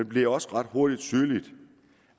blev også ret hurtigt tydeligt